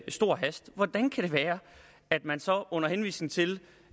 stor hast hvordan kan det være at man så under henvisning til